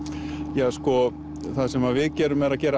ja sko það sem að við gerum er að gera